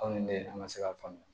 Aw ni ne ye an ka se k'a faamu